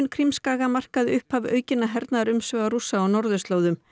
Krímskaga markaði upphaf aukinna hernaðarumsvifa Rússa á norðurslóðum